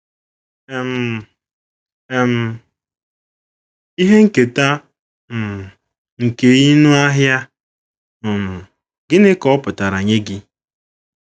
um um Ihe Nketa um nkeị nụ Ahịa um Gịnị Ka Ọ Pụtara Nye Gị?